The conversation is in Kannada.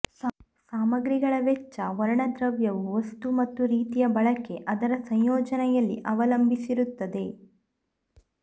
ಸಾಮಗ್ರಿಗಳ ವೆಚ್ಚ ವರ್ಣದ್ರವ್ಯವು ವಸ್ತು ಮತ್ತು ರೀತಿಯ ಬಳಕೆ ಅದರ ಸಂಯೋಜನೆಯಲ್ಲಿ ಅವಲಂಬಿಸಿರುತ್ತದೆ